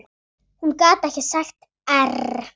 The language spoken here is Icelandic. Hún gat ekki sagt err.